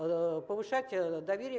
повышать доверие